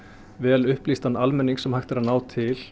vel upplýstan almenning sem hægt er að ná til